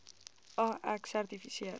a ek sertifiseer